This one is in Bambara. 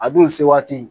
A dun se waati